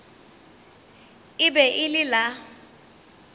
e be e le la